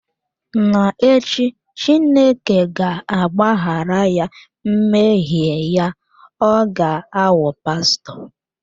N'echi, Chineke ga-agbaghara ya mmehie ya, ọ ga-aghọkwa pastọ.